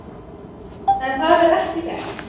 En það er ekki rétt.